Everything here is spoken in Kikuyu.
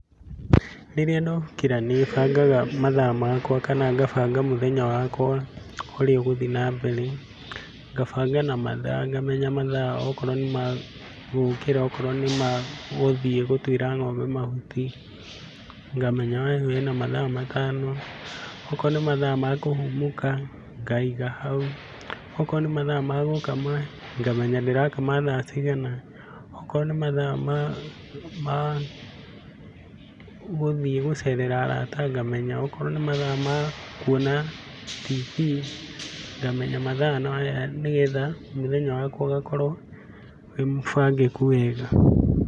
Rĩrĩa ndokĩra nĩ bangaga mathaa makwa kana kabanga mũthenya wakwa ũrĩa ũgũthiĩ na mbere, ngabanga na mathaa ngamenya mathaa akorwo nĩmagũkĩra, akorwo nĩmagũthiĩ gũtũĩra ng'ombe mahuti ngamenya hena mathaa matano. Okorwo nĩ mathaa kũhũmũka ngaiga haũ, akorwo nĩ mathaa ma gũkama ngamenya ndĩrakama thaa cigana, akorwo nĩ mathaa ma ma guthiĩ gũcerera arata ngamenya, akorwo nĩ mathaa ma kũona tv ngamenya mathaa nĩgetha mũthenya wakwo ũgakorwo wĩ mũbangĩkũ wega.